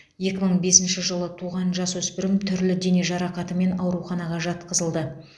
екі мың бесінші жылы туған жасөспірім түрлі дене жарақатымен ауруханаға жатқызылды